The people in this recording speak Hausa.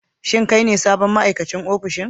Shin kai ne sabon ma'aikacin ofishin?